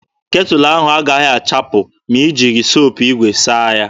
Ketụlụ ahụ agaghị achapụ ma i jighị sapo igwe saa ya.